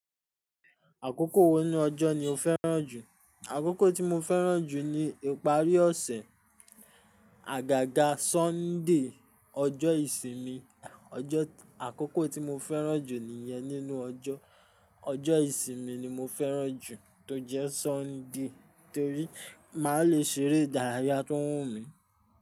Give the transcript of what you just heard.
Àkókò wo nu ọjọ́ ni o fẹ́ràn jù? Àkókò tí mo fẹ́ràn jù ni ìparí ọ̀sẹ̀, àgàgà Sunday, ọjọ́ ìsinmi. Ọjọ́ àkókò tí mo fẹ́ràn jù nìyẹn nínú ọjọ́. Ọjọ́ ìsinmi ni mo fẹ́ràn jù tó jẹ́ Sunday, torí màá le ṣeré ìdárayá tó wù mí.